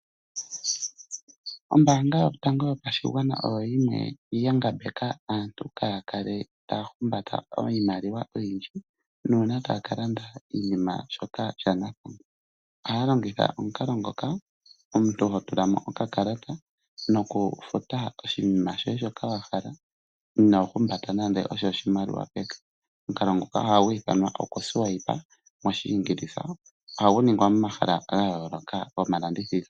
Ombaanga yotango yopashigwana oyo yimwe ya ngambeka aantu kaya kale taya humbata iimaliwa oyindji nuuna taya ka landa iinima, shoka sha nathangwa. Ohaya longitha omukalo ngoka omuntu ho tula mo okakalata nokufuta oshinima shoye shoka wa hala, ino humbata nande oshimaliwa peke. Omukalo nguka ohagu ithanwa kutya okuswipe moshingilisa, ohagu ningwa momahala ga yooloka gomalandithilo.